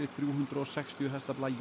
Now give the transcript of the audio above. þrjú hundruð og sextíu hestafla